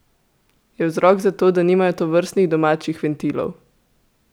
Je vzrok to, da nimajo tovrstnih domačih ventilov?